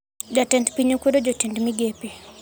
Jatend piny okwedo jotend migepe